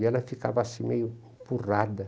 E ela ficava assim, meio empurrada.